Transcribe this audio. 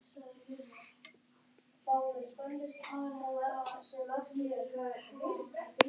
Hann varð þá á undan að ná sér í kærustu.